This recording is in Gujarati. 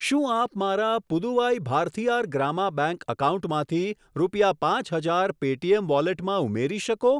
શું આપ મારા પુદુવાઈ ભારથીઆર ગ્રામા બેંક એકાઉન્ટમાંથી રૂપિયા પાંચ હજાર પેટીએમ વોલેટમાં ઉમેરી શકો?